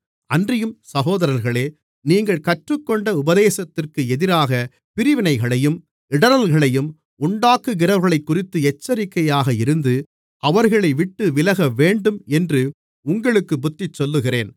அன்றியும் சகோதரர்களே நீங்கள் கற்றுக்கொண்ட உபதேசத்திற்கு எதிராகப் பிரிவினைகளையும் இடறல்களையும் உண்டாக்குகிறவர்களைக்குறித்து எச்சரிக்கையாக இருந்து அவர்களைவிட்டு விலகவேண்டும் என்று உங்களுக்குப் புத்திசொல்லுகிறேன்